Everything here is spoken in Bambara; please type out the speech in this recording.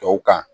Tɔw kan